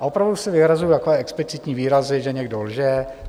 A opravdu si vyhrazuji takové explicitní výrazy, že někdo lže.